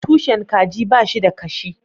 Tushen kaji ba shi da kashi